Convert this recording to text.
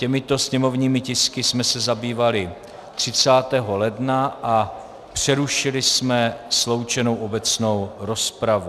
Těmito sněmovními tisky jsme se zabývali 30. ledna a přerušili jsme sloučenou obecnou rozpravu.